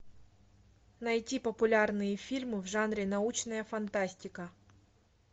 найти популярные фильмы в жанре научная фантастика